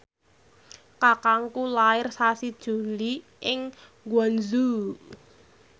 kakangku lair sasi Juli ing Guangzhou